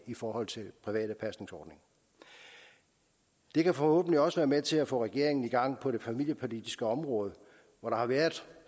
forhold til private pasningsordninger det kan forhåbentlig også være med til at få regeringen i gang på det familiepolitiske område hvor der har været